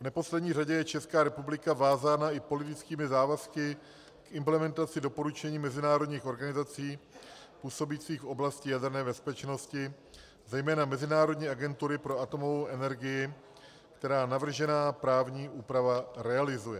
V neposlední řadě je Česká republika vázána i politickými závazky k implementaci doporučení mezinárodních organizací působících v oblasti jaderné bezpečnosti, zejména Mezinárodní agentury pro atomovou energii, která navržená právní úprava realizuje.